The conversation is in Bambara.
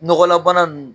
Nɔgɔlabana ninnu